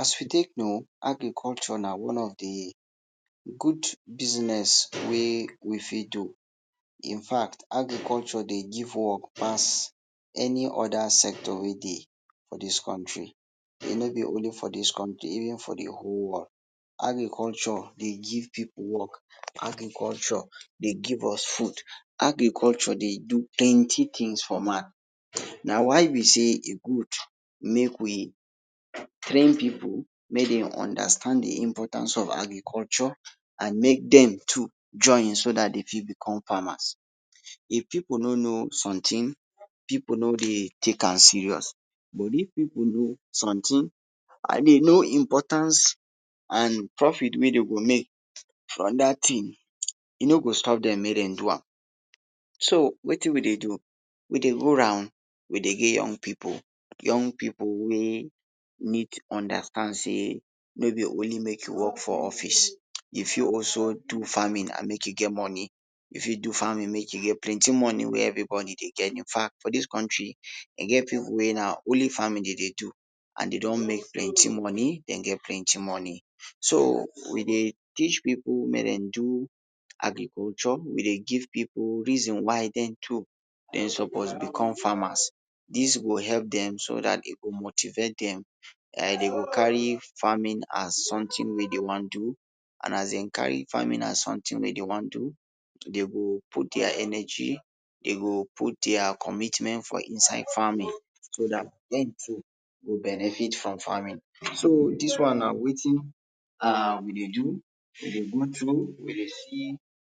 As we take no, agriculture na one of di good business wey we fit do, in fact agriculture dey give work pass any other sector wey de, for this county, no be only for this country even for de whole world, agriculture dey give pipu work, agriculture dey give us food, agriculture dey do plenty tins for man. Na why be sey e good make we train pipu make dem understand de importance of agriculture, and make dem too join so dat dey fit become farmers, if pipu no no sometin pipu no dey take am serious, but if pipu no sometin and dey no de importance and profit wey de go make from dat tin e go no stop dem make den do am so wetin we de do? We dey go round we dey give young pipu, young pipu wey need understand sey no be only to work for office you fit also do farming and make u make moni you fit also do farming make you get planty money wey everybody dey get in fact for dis country e get people wey na only farming der dey do and dey don make plenty moni dey get plenty moni, so we dey teach pipu make dem do agriculture we dey give pipu reason why dem to dem suppose become farmers, dis go help dem so dat dem go motivate dem, dem go carry farm as suntin wey dem wan do and as dem carry farming as suntin whey dey wan do dey go put their energy dey go put their commitment for inside farming, so dat dem too dem go benefit from farming. So dis one na wetin um we dey do, we dey go we dey see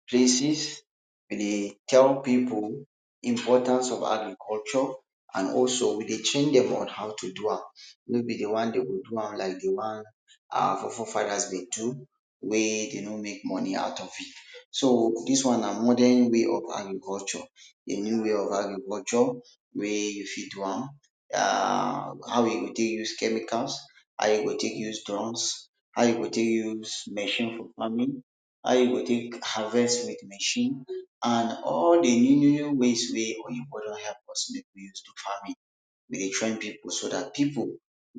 places, we dey tell pipu, importance of agriculture and also we dey train dem on how to do am no be de wan whey dem go do am wan wey our fore fore fathers dey do wey dem no make money at of it so dis one na modern way of agriculture na now wey of agriculture, whey you fit do am um how you go take use chemicals, how you go take use drugs, how you go take use machine for farming, how you go take harvest with machine an all de new new new ways when oyinbo don help us bring to farming we de train pipo so dat pipo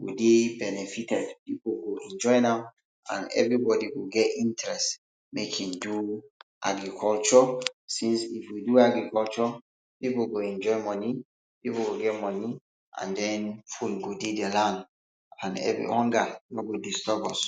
go de benefited and pipu go enjoy am everybody go get interest make im do agriculture since if you do agriculture pipu go enjoy money, pipu go get money, and den food go dey de land hunger no go disturb us.